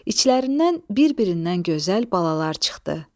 İçlərindən bir-birindən gözəl balalar çıxdı.